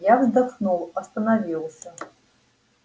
я вздохнул остановился